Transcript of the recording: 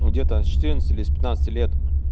ну где-то с четырнадцати или с пятнадцати лет